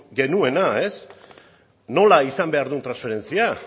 genuena nola izan behar duen transferentzia